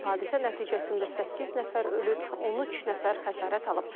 Hadisə nəticəsində səkkiz nəfər ölüb, 13 nəfər xəsarət alıb.